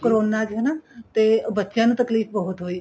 corona ਚ ਹਨਾ ਬੱਚਿਆਂ ਨੂੰ ਤਕਲੀਫ਼ ਬਹੁਤ ਹੋਈ